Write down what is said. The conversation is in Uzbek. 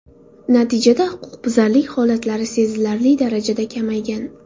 Natijada huquqbuzarlik holatlari sezilarli darajada kamaygan.